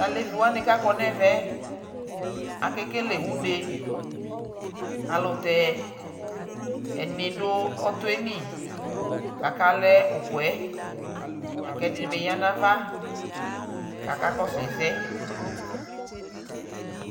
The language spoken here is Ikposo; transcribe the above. Taleviwani kʋ akɔ nʋ ɛvɛ yɛ akekele uneayʋɛlʋtɛ ɛdι nι dʋ ɔtɔ yɛ lι kʋ akalɛ ukuɛ la kʋ ɛdι nι bι ya nʋ ava kakakɔsu ɛsɛ